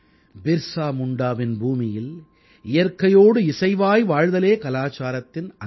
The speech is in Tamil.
பிர்ஸா முண்டாவின் பூமியில் இயற்கையோடு இசைவாய் வாழ்தலே கலாச்சாரத்தின் அங்கம்